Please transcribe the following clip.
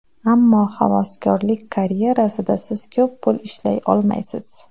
Ammo havaskorlik karyerasida siz ko‘p pul ishlay olmaysiz.